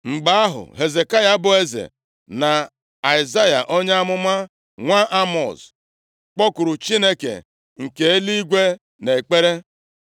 Mgbe ahụ, Hezekaya bụ eze, na Aịzaya onye amụma, nwa Emọz, kpọkuru Chineke nke eluigwe nʼekpere.